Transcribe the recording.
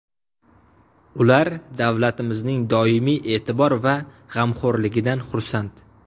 Ular davlatimizning doimiy e’tibor va g‘amxo‘rligidan xursand.